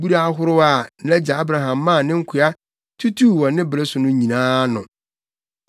abura ahorow a nʼagya Abraham maa ne nkoa tutuu wɔ ne bere so no nyinaa ano.